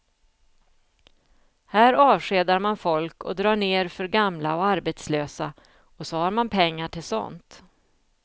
Här avskedar man folk och drar ner för gamla och arbetslösa, och så har man pengar till sådant.